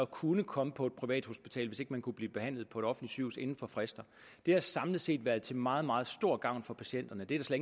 kunne komme på et privathospital hvis man ikke kunne blive behandlet på et offentligt sygehus inden for fristen har samlet set været til meget meget stor gavn for patienterne det er der